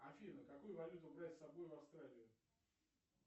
афина какую валюту брать с собой в австралию